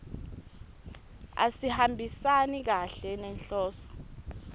asihambisani kahle nenhloso